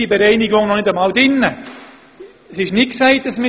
Dabei sind die Kosten noch nicht einmal bereinigt.